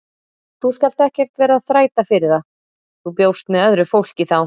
Þú skalt ekkert vera að þræta fyrir það, þú bjóst með öðru fólki þá!